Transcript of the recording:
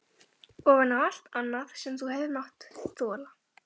Ofan á allt annað sem þú hefur mátt þola?